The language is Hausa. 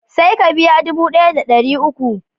Sai ka biya dubu daya da dariuku